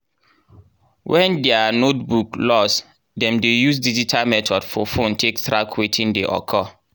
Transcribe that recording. when diir notebook loss dem dey use digital method for phone take track wetin dey occur.